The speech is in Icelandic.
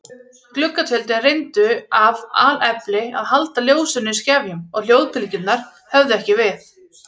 Gluggatjöldin reyndu af alefli að halda ljósinu í skefjum og hljóðbylgjurnar höfðu ekki við.